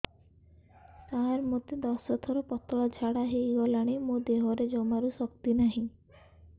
ସାର ମୋତେ ଦଶ ଥର ପତଳା ଝାଡା ହେଇଗଲାଣି ମୋ ଦେହରେ ଜମାରୁ ଶକ୍ତି ନାହିଁ